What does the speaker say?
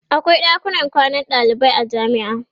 akwai ɗakunan kwanan dalibai a jamia